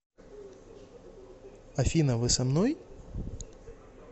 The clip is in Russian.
афина вы со мной